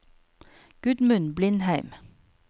Gudmund Blindheim